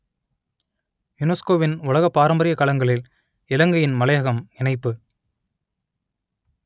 யுனெஸ்கோவின் உலக பாரம்பரியக் களங்களில் இலங்கையின் மலையகம் இணைப்பு